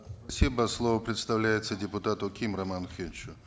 спасибо слово предоставляется депутату ким роману охеновичу